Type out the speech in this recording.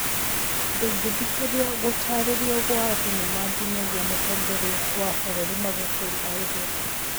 Ndũngithikĩria gũtarĩrio gwa thenema nginyagia mũtongoria wa bũrũri Magufuli oige